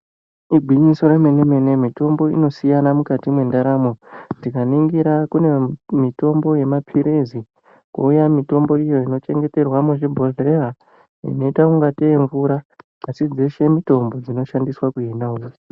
Igwinyiso remene-mene mitombo inosiyana mukati mwendaramo. Tikaningira kune mitombo yemaphirizi kwouya mitombo iyo inochengeterwa muzvibhodhleya inoita ngatei imvura asi dzeshe mitombo dzinoshandiswa kuhina hosha.